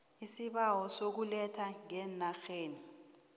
isibawo sokuletha ngeenarheni